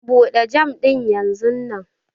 Bude jam dinnan yanzunnan!